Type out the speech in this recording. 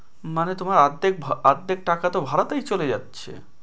মানে তোমার অর্ধেক অর্ধেক টাকা তো ভাড়াতেই চলে যাচ্ছে ।